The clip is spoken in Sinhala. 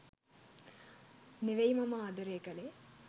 නෙවෙයි මම ආදරය කළේ.